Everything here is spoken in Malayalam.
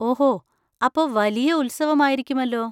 ഓഹോ, അപ്പൊ വലിയ ഉത്സവം ആയിരിക്കുമല്ലോ.